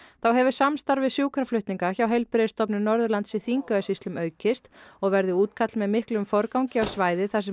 þá hefur samstarf við sjúkraflutninga hjá Heilbrigðisstofnun Norðurlands í Þingeyjarsýslum aukist og verði útkall með miklum forgangi á svæði þar sem